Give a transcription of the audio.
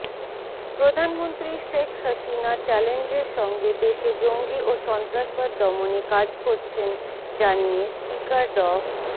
প্রধানমন্ত্রী শেখ হাসিনা চ্যালেঞ্জের সঙ্গে দেশে জঙ্গি ও সন্ত্রাসবাদ দমনে কাজ করছেন জানিয়ে স্পিকার ড